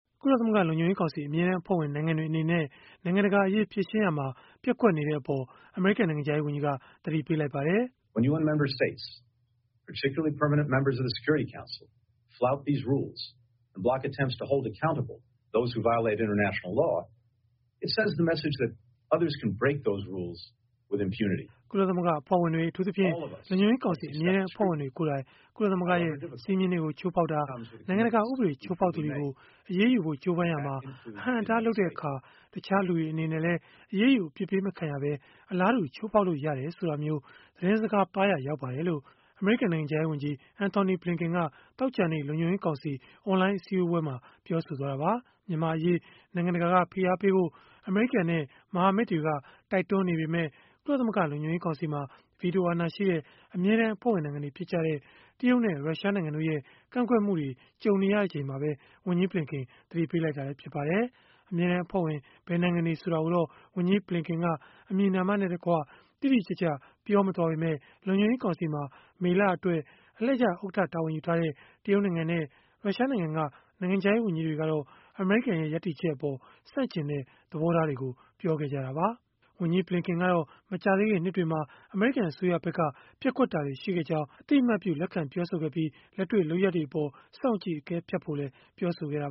ကုလသမဂ္ဂ လုံခြုံရေးကောင်စီ အမြဲတမ်းအဖွဲ့ဝင် နိုင်ငံတွေ အနေနဲ့ နိုင်ငံတကာအရေး ဖြေရှင်းရာမှာ ပျက်ကွက်နေတဲ့အပေါ် အမေရိကန် နိုင်ငံခြားရေးဝန်ကြီးက သတိပေးလိုက်ပါတယ်။ “ကုလသမဂ္ဂ အဖွဲ့ဝင်တွေ၊ အထူးသဖြင့် လုံခြုံရေးကောင်စီ အမြဲတမ်း အဖွဲ့ဝင်တွေကိုယ်တိုင် ကုလသမဂ္ဂရဲ့ စည်းမျဉ်းတွေကို ချိုးဖောက်တာ၊ နိုင်ငံတကာ ဥပဒေ ချိုးဖောက်သူတွေကို အရေးယူဖို့ ကြိုးပမ်းရာမှာ အဟန့်အတား လုပ်တဲ့အခါ၊ တခြားလူတွေ အနေနဲ့လည်း အရေးယူ အပြစ်ပေးမခံရဘဲ အလားတူ ချိုးဖောက်လို့ ရတယ်ဆိုတာမျိုး သတင်းစကားပါးရာ ရောက်ပါတယ်။” လို့ Antony Blinken က သောကြာနေ့ လုံခြုံရေးကောင်စီ အွန်လိုင်း အစည်းအဝေးမှာ ပြောဆိုသွားတာပါ။ မြန်မာ့အရေး နိုင်ငံတကာက ဖိအားပေးဖို့ အမေရိကန်နဲ့ မဟာမိတ်တွေက တိုက်တွန်းနေပေမဲ့ ကုလသမဂ္ဂ လုံခြုံရေးကောင်စီမှာ ဗီတိုအာဏာရှိတဲ့ အမြဲတမ်းအဖွဲ့ဝင် နိုင်ငံတွေ ဖြစ်ကြတဲ့ တရုတ်နဲ့ ရုရှားနိုင်ငံတို့ရဲ့ ကန့်ကွက်မှုတွေ ကြုံနေရချိန်မှာပဲ ဝန်ကြီး Blinken သတိပေးလိုက်တာလည်း ဖြစ်ပါတယ်။ အမြဲတမ်းအဖွဲ့ဝင် ဘယ်နိုင်ငံတွေ ဆိုတာကိုတော့ ဝန်ကြီး Blinken က တိတိကျကျ ပြောမသွားပေမဲ့ လုံခြုံရေးကောင်စီမှာ မေလအတွက် အလှည့်ကျ ဥက္ကဋ္ဌ တာဝန်ယူထားတဲ့ တရုတ်နိုင်ငံနဲ့ ရုရှားနိုင်ငံက နိုင်ငံခြားရေး ဝန်ကြီးတွေကတော့ အမေရိကန်ရဲ့ ရပ်တည်ချက်အပေါ် ဆန့်ကျင်တဲ့ သဘောထားတွေ ပြောခဲ့ကြတာပါ။ ဝန်ကြီး Blinken ကတော့ မကြာသေးခင် နှစ်တွေမှာ အမေရိကန် အစိုးရဖက်က ပျက်ကွက်တာတွေ ရှိခဲ့ကြောင်း လက်ခံပြောဆိုခဲ့ပြီး၊ လက်တွေ့လုပ်ရပ်တွေအပေါ် စောင့်ကြည့် အကဲဖြတ်ဖို့လည်း ပြောဆိုခဲ့ပါ